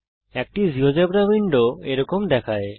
একটি GeoGebra window এরকম দেখায়